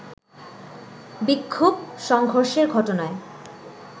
বিক্ষোভ-সংঘর্ষের ঘটনায়